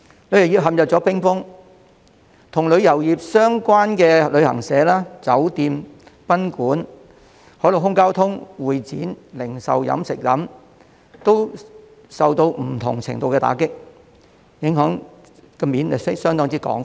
旅遊業陷入冰封，與旅遊業相關的旅行社、酒店、賓館、海陸空交通、會展、零售及飲食業，亦受到不同程度的打擊，影響相當廣泛。